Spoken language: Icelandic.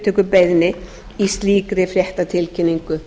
til hugsanlegrar endurupptökubeiðni í slíkri fréttatilkynningu